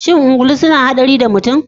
Shin ungulu suna haɗari da mutum